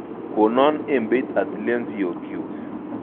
Konon ebeit atilen siyok kyuk